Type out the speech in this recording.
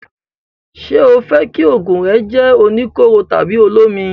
Ṣé o fẹ́ kí òògùn rẹ jẹ́ oníkóró tàbí olómi?